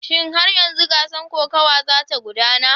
Shin har yanzu gasar kokawa za ta gudana?